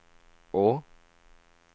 å